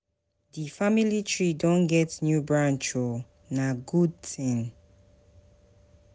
Di family tree don get new branch o, na good tin.